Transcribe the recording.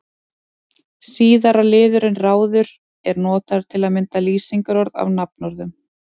Síðara liðurinn-ráður er notaður til að mynda lýsingarorð af nafnorðum.